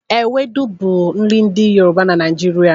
Ewedu bụ nri ndị Yoruba na Naịjirịa.